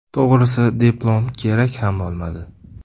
To‘g‘risi, diplom kerak ham bo‘lmadi.